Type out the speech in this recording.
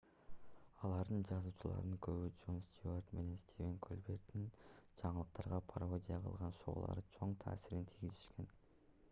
алардын жазуучуларынын көбү джон стюарт менен стивен колберттин жаңылыктарга пародия кылган шоуларына чоң таасирин тийгизишкен